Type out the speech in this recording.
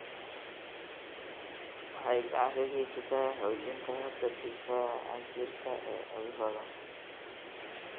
Waxay gacan ka geysataa xoojinta habka difaaca jirka ee cudurrada.